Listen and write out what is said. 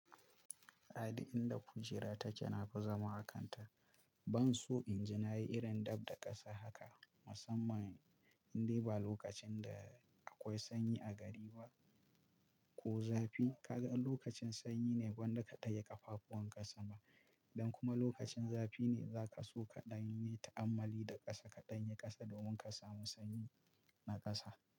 A duk inda kujera take nafi zama a kanta. Ban so in ji na yi irin dab da ƙasa haka, musamman in dai ba lokacin da akwai sanyi a gari ba. Ko zafi ka gan lokacin sanyi ne kwanda ka dage ƙafafuwan ƙasa ma. Don kuma lokacin zafi ne za ka so ka ɗanyi ta'ammali da ƙasa, ka ɗanyi ƙasa domin ka samu sanyi na ƙasa.